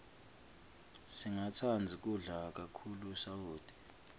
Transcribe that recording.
singatsandzi kudla kakhulu sawoti